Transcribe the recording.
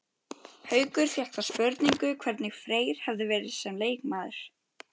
Haukur fékk þá spurningu hvernig Freyr hefði verið sem leikmaður?